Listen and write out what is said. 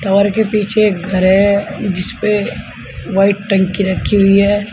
Tower के पीछे एक घर है जिस पे व्हाइट टंकी रखी हुई है।